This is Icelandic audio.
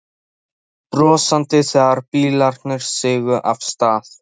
Veifuðum brosandi þegar bílarnir sigu af stað.